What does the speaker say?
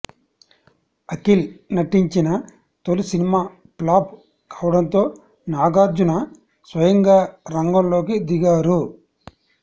అఖిల్ నటించిన తొలి సినిమా ప్లాప్ కావడంతో నాగార్జున స్వయంగా రంగంలోకి దిగారు